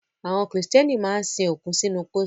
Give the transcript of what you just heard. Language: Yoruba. Àwọn Kìrìtẹ́nì máa ń sin òkú sínú pósí